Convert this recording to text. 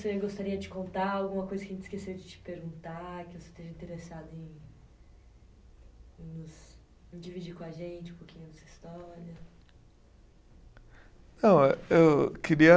Você gostaria de contar? Alguma coisa que a gente esqueceu de te perguntar, que você esteja interessado em nos, em dividir com a gente um pouquinho dessa história? Não, eh, eu queria